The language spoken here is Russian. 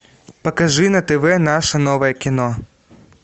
покажи на тв наше новое кино